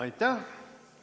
Aitäh!